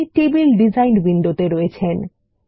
এখন আপনি table design উইন্ডোতে আছেন